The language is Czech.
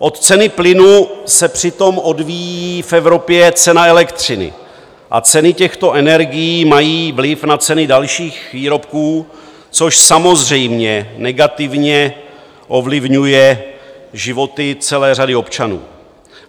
Od ceny plynu se přitom odvíjí v Evropě cena elektřiny a ceny těchto energií mají vliv na ceny dalších výrobků, což samozřejmě negativně ovlivňuje životy celé řady občanů.